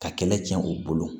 Ka kɛlɛ cɛn u bolo